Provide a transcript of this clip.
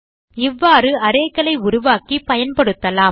இவ்வாறு arrayகளை உருவாக்கி பயன்படுத்தலாம்